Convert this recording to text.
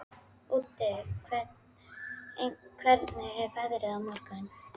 Úddi, hvernig er veðrið á morgun?